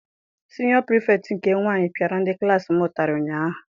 Siniọ Pirifetktị nke nwaanyị piara ndị klassi m ụtarị ụnyaahụ.